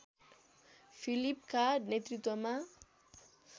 फिलिपका नेतृत्वमा